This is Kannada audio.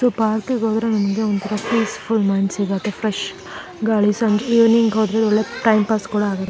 ಈ ಪಾರ್ಕಿಗೆ ಗೆ ಹೋದ್ರೆ ನನ್ಗೆ ಒಂತರ ಪೀಸ್ಫುಲ್ ಮೈಂಡ್ ಸಿಗುತ್ತೆ ಫ್ರೆಶ್ ಗಾಳಿ ಸಂಜೆ ಈವ್ನಿಂಗ್ ಹೋದ್ರೆ ಎಲ್ಲ ಟೈಮ್ ಪಾಸ್ ಕೂಡಾ ಆಗುತ್ತೆ.